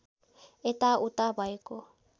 यता उता भएको